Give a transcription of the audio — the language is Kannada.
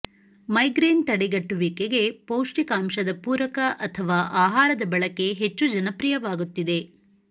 ಮೈಗ್ರೇನ್ ತಡೆಗಟ್ಟುವಿಕೆಗೆ ಪೌಷ್ಟಿಕಾಂಶದ ಪೂರಕ ಅಥವಾ ಆಹಾರದ ಬಳಕೆ ಹೆಚ್ಚು ಜನಪ್ರಿಯವಾಗುತ್ತಿದೆ